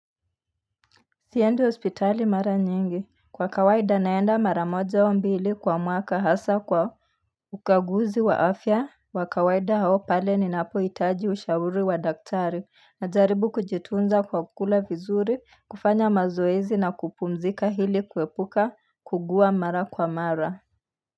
Siendi hospitali mara nyingi, kwa kawaida naenda mara moja au mbili kwa mwaka hasa kwa ukaguzi wa afya wa kawaida au pale ni napohitaji ushauri wa daktari Najaribu kujitunza kwa kukula vizuri, kufanya mazoezi na kupumzika ili kuepuka kuugua mara kwa mara.